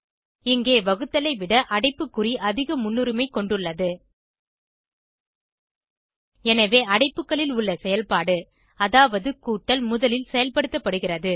இங்கே வகுத்தலை விட அடைப்புகுறி அதிக முன்னுரிமை கொண்டுள்ளது எனவே அடைப்புளில் உள்ள செயல்பாடு அதாவது கூட்டல் முதலில் செயல்படுத்தப்படுகிறது